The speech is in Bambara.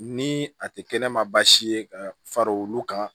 Ni a tɛ kɛnɛma baasi ye ka fara olu kan